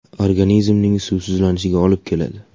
Organizmning suvsizlanishiga olib keladi.